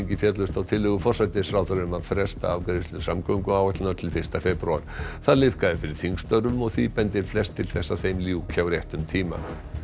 féllust á tillögu forsætisráðherra um að fresta afgreiðslu samgönguáætlunar til fyrsta febrúar það liðkaði fyrir þingstörfum og því bendir flest til að þeim ljúki á réttum tíma